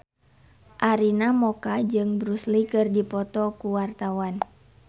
Arina Mocca jeung Bruce Lee keur dipoto ku wartawan